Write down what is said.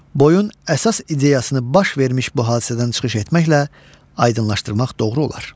Boyun əsas ideyasını baş vermiş bu hadisədən çıxış etməklə aydınlaşdırmaq doğru olar.